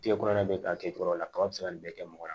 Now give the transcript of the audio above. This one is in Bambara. Kile kɔnɔna bɛ ta kɛ cogo dɔ la kaba bɛ se ka nin bɛɛ kɛ mɔgɔ la